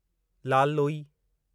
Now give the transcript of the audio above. Lal Loi